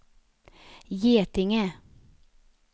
Getinge